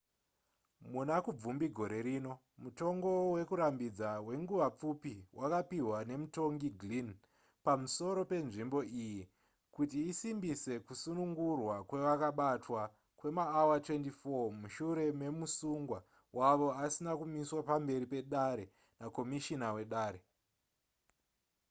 muna kubvumbi gore rino mutongo wekurambidza wenguva pfupi wakapihwa nemutongi glynn pamusoro penzvimbo iyi kuti isimbise kusunungurwa kwevakabatwa kwemaawa 24 mushure memusungwa wavo asina kumiswa pamberi pedare nakomishina wedare